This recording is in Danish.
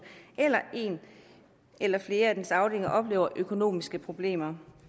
eller en eller flere af dens afdelinger oplever økonomiske problemer